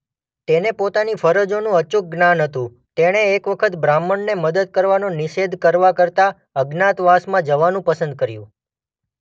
તેને પોતાની ફરજોનું અચૂક જ્ઞાન હતું તેણે એક વખત બ્રાહ્મણને મદદ કરવાનો નિષેધ કરવા કરતાં અજ્ઞાતવાસમાં જવાનું પસંદ કર્યું.